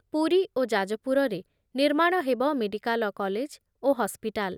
ପୁରୀ ଓ ଯାଜପୁରରେ ନିର୍ମାଣ ହେବ ମେଡ଼ିକାଲ କଲେଜ ଓ ହସ୍‌ପିଟାଲ।